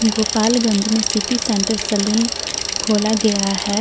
गोपालगंज में city centre salon खोला गया है।